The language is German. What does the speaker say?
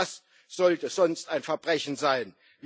Und was sollte sonst ein Verbrechen sein?